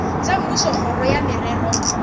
tša mmušo kgoro ya merero